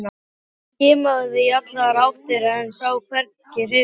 Hún skimaði í allar áttir en sá hvergi hreyfingu.